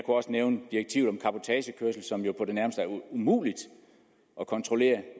også nævne direktivet om cabotagekørsel som jo på det nærmeste er umuligt at kontrollere